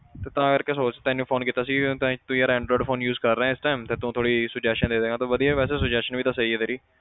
ਤੇ ਤਾਂ ਕਰਕੇ ਸੋਚ ਤੈਨੂੰ phone ਕੀਤਾ ਸੀ ਤਾਂ ਤੂੰ ਯਾਰ android phone use ਕਰ ਰਿਹਾਂ ਇਸ time ਤੇ ਤੂੰ ਥੋੜ੍ਹੀ suggestion ਦੇ ਦੇਵੇਂਗਾ, ਤੂੰ ਵਧੀਆ ਵੈਸੇ suggestion ਵੀ ਤਾਂ ਸਹੀ ਆ ਤੇਰੀ।